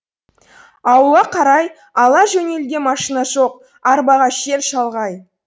ауылға қарай ала жөнелуге машина жоқ арбаға жер шалғай